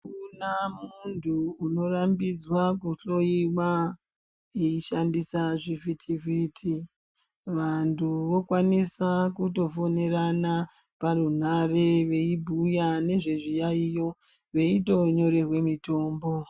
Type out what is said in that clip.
Akuna muntu unorambidzwa kuhloyiwa vaishandisa zvivhiti vhiti , vantu vakwanise kutofonerana parunhare veibhuya nezvezviyaiyo vaitonyorerwa mitombo.